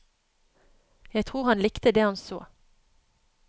Jeg tror han likte det han så.